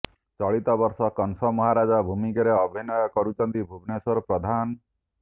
ଚଳିତବର୍ଷ କଂସ ମହାରାଜା ଭୂମିକାରେ ଅଭିନୟ କରୁଛନ୍ତି ଭୁବନେଶ୍ୱର ପ୍ରଧାନ